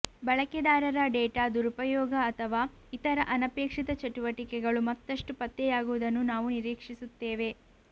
ಬಳಕೆದಾರರ ಡೇಟಾ ದುರುಪಯೋಗ ಅಥವಾ ಇತರ ಅನಪೇಕ್ಷಿತ ಚಟುವಟಿಕೆಗಳು ಮತ್ತಷ್ಟು ಪತ್ತೆಯಾಗುವುದನ್ನು ನಾವು ನಿರೀಕ್ಷಿಸುತ್ತೇವೆ